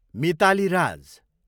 Mitali Raj